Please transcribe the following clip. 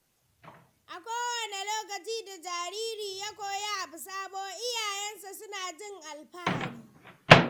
A kowane lokaci da jariri ya koyi abu sabo, iyayensa suna jin alfahari.